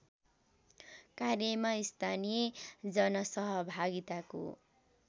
कार्यमा स्थानीय जनसहभागिताको